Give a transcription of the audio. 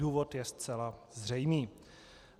Důvod je zcela zřejmý.